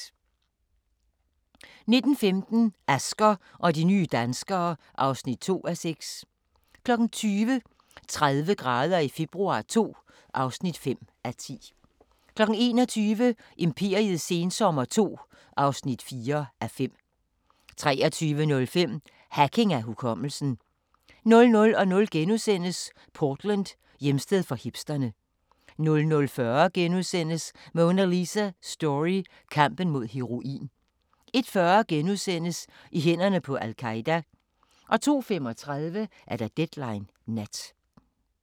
19:15: Asger og de nye danskere (2:6) 20:00: 30 grader i februar II (5:10) 21:00: Imperiets sensommer II (4:5) 23:05: Hacking af hukommelsen 00:00: Portland: Hjemsted for hipsterne * 00:40: Monalisa Story: Kampen mod heroin * 01:40: I hænderne på al-Qaeda * 02:35: Deadline Nat